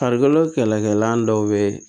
Farikolo kɛlɛkɛlan dɔw be ye